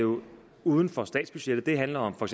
jo uden for statsbudgettet det handler om for